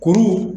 Kuru